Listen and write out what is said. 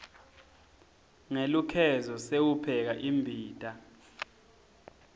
ngelukhezo sewupheka imbita